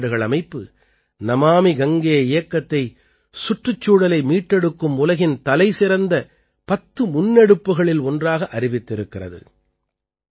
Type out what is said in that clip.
ஐக்கிய நாடுகள் அமைப்பு நமாமி கங்கே இயக்கத்தை சுற்றுச்சூழலை மீட்டெடுக்கும் உலகின் தலைசிறந்த பத்து முன்னெடுப்புக்களில் ஒன்றாக அறிவித்திருக்கிறது